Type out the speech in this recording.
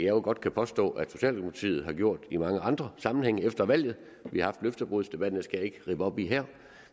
jo godt kan påstå at socialdemokratiet har gjort i mange andre sammenhænge efter valget vi har haft løftebrudsdebatten skal jeg ikke rippe op i her